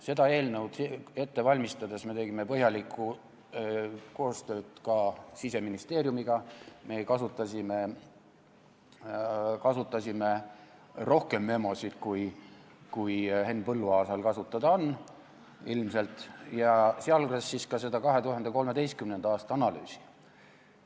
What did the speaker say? Seda eelnõu ette valmistades me tegime põhjalikku koostööd ka Siseministeeriumiga, me kasutasime rohkem memosid, kui Henn Põlluaasal ilmselt kasutada on, ja sealhulgas siis ka seda 2013. aasta analüüsi.